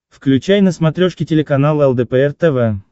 включай на смотрешке телеканал лдпр тв